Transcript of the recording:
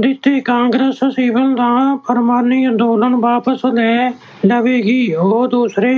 ਦਿੱਤੇ। ਕਾਂਗਰਸ ਸਿਵਲ-ਨਾ-ਫੁਰਮਾਨੀ ਅੰਦੋਲਨ ਵਾਪਸ ਲੈ ਲਵੇਗੀ। ਉਹ ਦੂਸਰੇ